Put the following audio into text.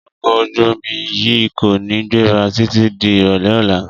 Ọkọ̀ ojú-omi yìí kò ní gbéra títí di ìrọ̀lẹ́ ọ̀la